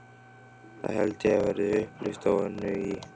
Það held ég verði upplit á Önnu í